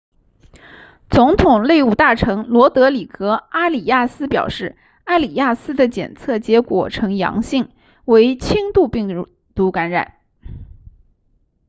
总统内务大臣罗德里戈阿里亚斯表示阿里亚斯的检测结果呈阳性为轻度病毒感染